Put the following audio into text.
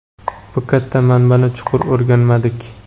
bu katta manbani chuqur o‘rganmadik.